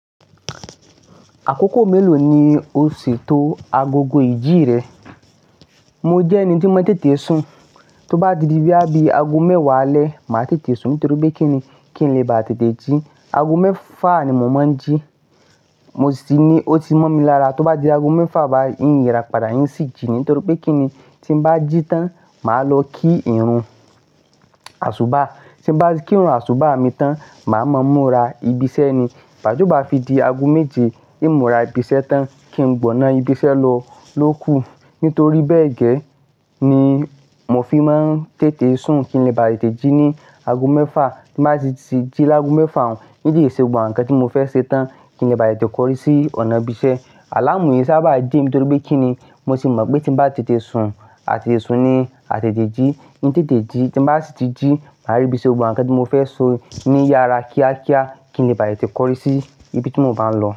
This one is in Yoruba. Àkókò mélòó ni o ṣètò agogo ìjì rẹ? Mo jẹ́ ẹni tí ó mọ tètè sùn. Tó bá di bí i bí i ago mẹ́wàá alẹ́, màá tètè sùn nítorí pé kí nì, kí n lè bá tètè jí. Ago mẹ́fà ni mò ń máa ń jí. Mo sì ní ó ti mọ̀ mi lára tó bá di ago mẹ́fà, bá yín ìrọ̀pá dà á yín sì jí ni nítorí pé kí ni tí n bá jí tán, màá lọ kí ìrun àṣóbá. Tí n bá kí ìrun àṣóbá mi tán, màá mọ̀ múra ibiṣẹ́ ni. Ìgba tió bá fi di ago méje, èin múra ibiṣẹ́ tán kí n gbọná ibiṣẹ́ lọ ló kú. Nítorí bé gẹ́ ni mo fi máa tètè sùn. Kí n lè bá tètè jí ni ago mẹ́fà. Tí n bá sì tí jí lágo mẹ́fà, ń tete se gbogbo àwọn nǹkan tí mo fẹ́ ṣe tán. Kí n lè bá tètè kọrí sí ọ̀nà ibiṣẹ́. Àlámú eyì ṣá bá jí mi nítorí pé kí ni mo tì mọ̀ pé tí n bá tètè sùn, a tètè sùn ni, a tètè jí, tí n tètè jí, tí n bá sì tí jí, màá rí bíi èso gbogbo àwọn nǹkan tí mo fẹ́ ṣe ní yàrá kíákíá. Kí n lè bá tètè kọrí sí ibi tí mo bá ń lọ.